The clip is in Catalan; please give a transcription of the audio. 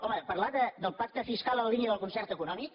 home parlar del pacte fiscal en la línia del concert econòmic